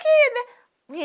aqui, né?